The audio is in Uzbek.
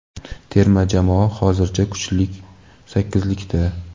terma jamoa hozircha kuchlik sakkizlikda.